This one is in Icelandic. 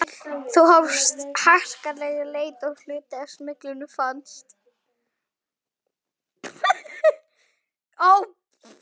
Þá hófst harkaleg leit og hluti af smyglinu fannst.